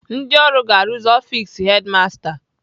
Ndị ọrụ ga-arụzi ọfis hedimasta